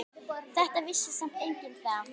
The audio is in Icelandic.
Þetta vissi samt enginn þá.